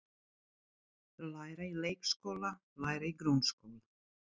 Læra í leikskóla Læra í grunnskóla